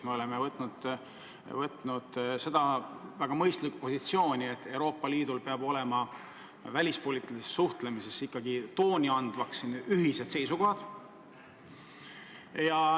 Me oleme võtnud väga mõistliku positsiooni, et Euroopa Liidul peavad välispoliitilises suhtlemises ikkagi tooni andvad olema ühised seisukohad.